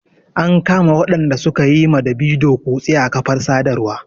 An kama waɗanda su ka yi ma Davido kutse a kafar sadarwa.